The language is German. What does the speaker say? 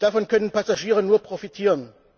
Davon können Passagiere nur profitieren.